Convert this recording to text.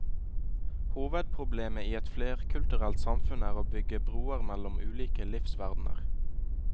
Hovedproblemet i et flerkulturelt samfunn er å bygge broer mellom ulike livsverdener.